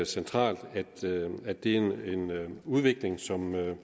centralt og at det er en udvikling som